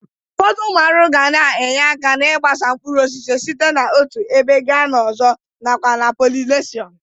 Ụfọdụ ụmụ arụrụ ga na-enye aka n'ịgbasa mkpuruosisi site n'otu ebe ga n'ọzọ nakwa na polineshọn